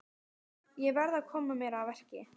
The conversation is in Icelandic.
Ég verð að koma mér að verki.